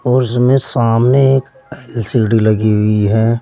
और इसमें सामने एक एल_सी_डी लगी हुई है।